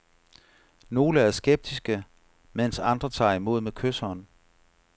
Nogle er skeptiske, mens andre tager imod med kyshånd.